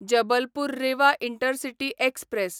Jabalpur Rewa intercity express